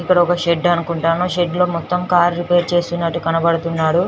ఇక్కడ ఒక షెడ్ అనుకుంటాను షెడ్ లో మొత్తం కార్ రిపేర్ చేస్తున్నట్టు కనబడుతున్నాడు.